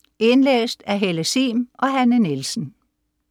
Indlæst af: Helle Sihm og Hanne Nielsen